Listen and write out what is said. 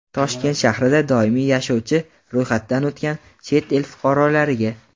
Toshkent shahrida doimiy yashovchi (ro‘yxatdan o‘tgan) chet el fuqarolariga;.